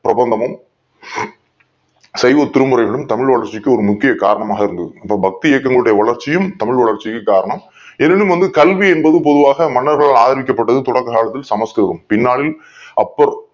பிரபந்தமும் தெய்வ திருமறைகளும் தமிழ் வளர்ச்சிக்கு ஒரு முக்கிய காரணமாக இருந்தது பக்தி இலக்கியங் களுடைய வளர்ச்சியும் தமிழ் வளர்ச்சிக்கு காரணம் எனினும் வந்து கல்வி என்பது பொதுவாக மன்னர்களால் ஆதரிக்கப்பட்டது தொடக்க காலத்தில் சமஸ்கிருதம் பின்னாளில்